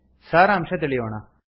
ಸಾರಾಂಶ ತಿಳಿಯೋಣ